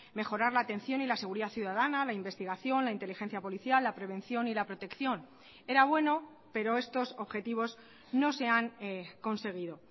mejorar la atención y la seguridad ciudadana la investigación la inteligencia policial la prevención y la protección era bueno pero estos objetivos no se han conseguido